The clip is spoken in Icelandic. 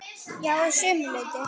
Já, að sumu leyti.